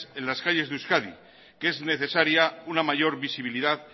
en las calles de euskadi que es necesaria una mayor visibilidad